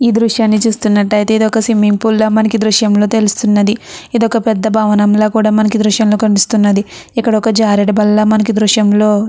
దృశ్యాన్ని చూస్తున్నట్లయితే ఇది ఒక స్విమ్మింగ్ పూల్ లాగా మనకి ఎదురు విషయంలో తెలుస్తూ ఉన్నది. ఇది ఒక పెద్ద భవనం లాగా కూడా మనకి ఈ దృశ్యంలో కనిపిస్తూ ఉన్నది. ఇక్కడ ఒక జారుడు వల్ల మనకి ఈ దృశ్యంలో --